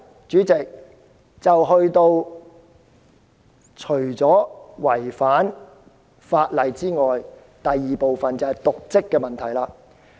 主席，特首除了違法外，還有瀆職的問題。